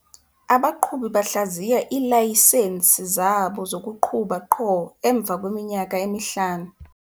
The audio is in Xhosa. Abaqhubi bahlaziya iilayisensi zabo zokuqhuba qho emva kweminyaka emihlanu.